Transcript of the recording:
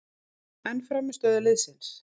En frammistöðu liðsins?